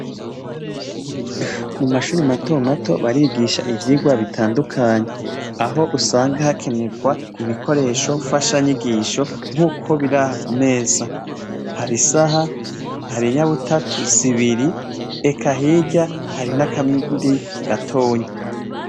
Mu mashuri mato mato barigisha ivyigwa bitandukanye, aho usanga hakenerwa ibikoresho mfashanyigisho. Nk'uko biri aha ku meza ,har'isaha har'inyabutatu zibiri, eka hirya hari n'akindi gatonyi.